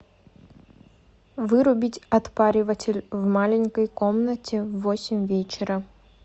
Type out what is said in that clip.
вырубить отпариватель в маленькой комнате в восемь вечера